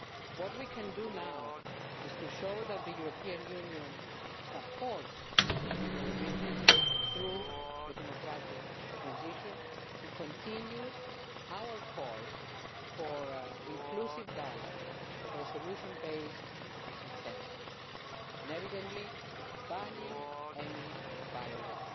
What we can do now is to show that the European Union supports the people of Egypt through the democratic transition and continue our call for inclusive dialogue for a solution based on consensus and, evidently, banning any violence.